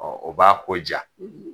o b'a ko ja.